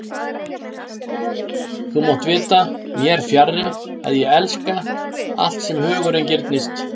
Þú mátt vita, mér fjarri, að ég elska, allt sem hugurinn girnist